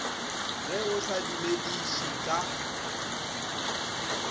ge o sa dumediše ka